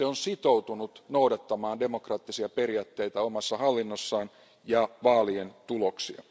Se on sitoutunut noudattamaan demokraattisia periaatteita omassa hallinnossaan ja vaalien tuloksia.